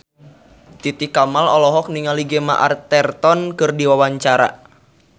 Titi Kamal olohok ningali Gemma Arterton keur diwawancara